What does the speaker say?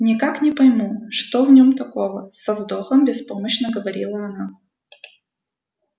никак не пойму что в нем такого со вздохом беспомощно говорила она